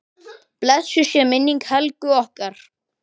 Blessuð sé minning Helgu okkar.